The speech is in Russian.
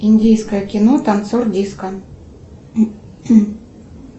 индийское кино танцор диско